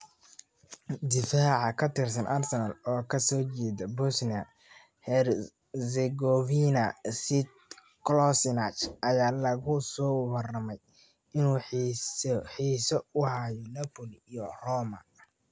(Mirror) Difaca ka tirsan Arsenal oo ka soo jeeda Bosnia-Herzegovina, Sead Kolasinac, ayaa lagu soo waramayaa inuu xiiso u hayo Napoli iyo Roma.